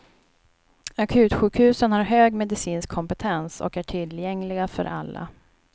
Akutsjukhusen har hög medicinsk kompetens, och är tillgängliga för alla.